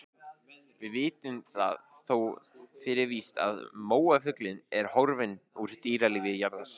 Við vitum það þó fyrir víst að móafuglinn er horfinn úr dýralífi jarðar.